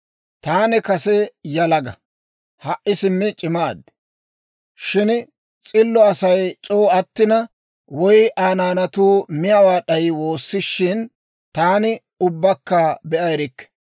Taani kase yalaga; ha"i simmi c'imaad; shin s'illo Asay c'oo attina, woy Aa naanatuu miyaawaa d'ayi woosishin, taani ubbakka be'a erikke.